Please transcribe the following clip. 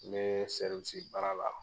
N be sɛriwisi baara la